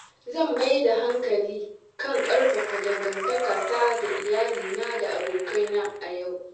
Zan mai da hankali kan ƙarfafa dangantakata da iyalina da abokaina a yau.